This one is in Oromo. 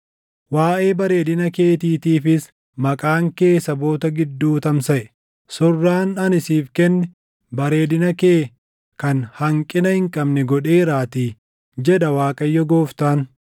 Waaʼee bareedina keetiitiifis maqaan kee saboota gidduu tamsaʼe; surraan ani siif kenne bareedina kee kan hanqina hin qabne godheeraatii, jedha Waaqayyo Gooftaan.